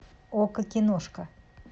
окко киношка